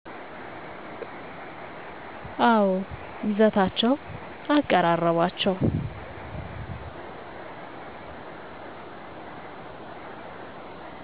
አወ ይዘታቸዉ አቀራረባቸዉ